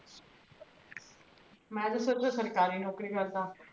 ਮੈਂ ਤ ਸੋਚੇਂ ਸਰਕਾਰੀ ਨੋਕਰੀ ਕਰਦਾ